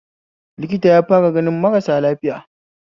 Likita yafara ganin marasa lafiya